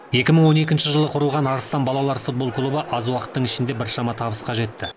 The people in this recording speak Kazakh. екі мың он екінші жылы құрылған арыстан балалар футбол клубы аз уақыттың ішінде біршама табысқа жетті